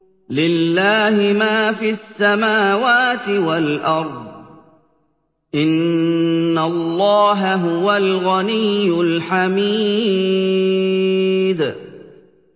لِلَّهِ مَا فِي السَّمَاوَاتِ وَالْأَرْضِ ۚ إِنَّ اللَّهَ هُوَ الْغَنِيُّ الْحَمِيدُ